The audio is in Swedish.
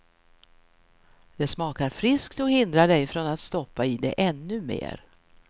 Det smakar friskt och hindrar dig från att stoppa i dig ännu mer.